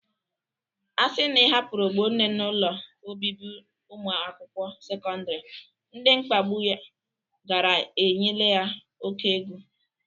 A sị na ị hapụrụ Ogbonne n'ụlọ obibi ụmụ akwụkwo sekọndịrị, ndị mkpagbụ ya gara eyinyela ya oke egwu.